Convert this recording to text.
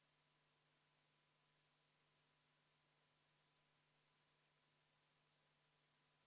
Kordan siin üle, et seda tasakaalustab kiirkorras protsessi kiirendamine: tänaseni oli see viis päeva, aga selle eelnõu vastuvõtmise järgselt on see kaks päeva.